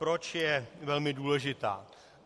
Proč je velmi důležitá?